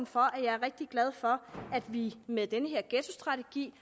for at jeg er rigtig glad for at vi med den her ghettostrategi